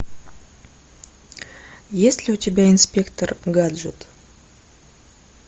есть ли у тебя инспектор гаджет